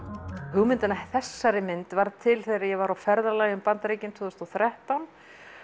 hugmyndin að þessari mynd varð til þegar ég var á ferðalagi um Bandaríkin tvö þúsund og þrettán